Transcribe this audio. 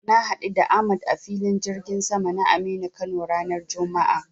Na haɗu da Ahmad a Filin jirgin sama na Aminu Kano ranar juma'a.